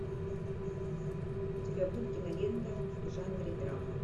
у тебя будет кинолента в жанре драма